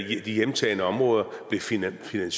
hjemtagne områder blev finansieret